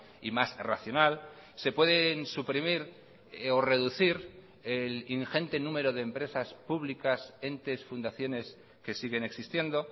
y más racional se pueden suprimir o reducir el ingente número de empresas públicas entes fundaciones que siguen existiendo